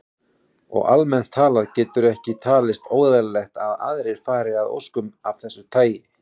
Og almennt talað getur ekki talist óeðlilegt að aðrir fari að óskum af þessu tagi.